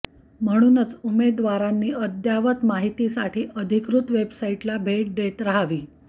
म्हणूनच उमेदवारांनी अद्ययावत माहितीसाठी अधिकृत वेबसाइटला भेट देत राहावी